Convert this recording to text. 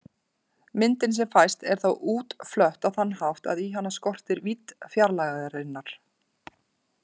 Myndin sem fæst er þá útflött á þann hátt að í hana skortir vídd fjarlægðarinnar.